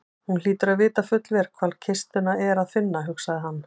Hún hlýtur að vita fullvel hvar kistuna er að finna, hugsaði hann.